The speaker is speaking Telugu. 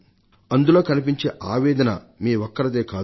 అందులో కనిపించే ఆవేదన మీ ఒక్కరిదే కాదు